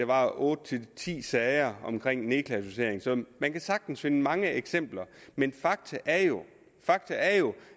var otte ti sager om nedklassificering så man kan sagtens finde mange eksempler men fakta er jo fakta er jo